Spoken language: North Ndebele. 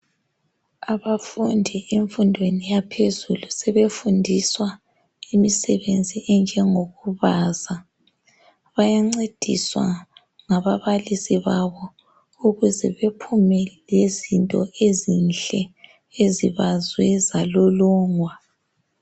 Abafundi emfundweni yaphezulu sebefundiswa imisebenzi enjengo kubaza. Bayancediswa ngababalisi babo ukuze bephume lezinto ezinhle ezibazwe zalolongwa.